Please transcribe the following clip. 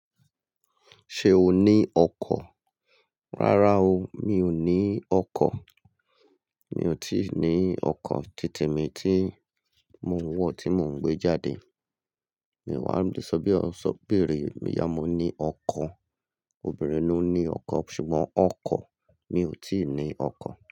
Ṣé o ní ọkọ̀? Rárá o, mi ò ní ọkọ̀. Mi ò tí ì ní ọkọ̀ títemi tí mo n wọ̀ tí mò ń gbé jáde. Mi wá ń di "ṣọ bí o ṣe obìnrin", ìyá mo ní ọkọ̀. Obìnrin ló ní ọkọ̀ ṣùgbọ́n ọkọ̀ mi ò tí ì ní ọkọ̀